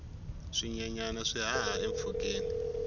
swinyenyana swi haha empfhukeni